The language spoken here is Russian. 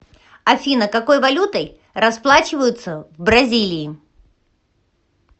афина какой валютой расплачиваются в бразилии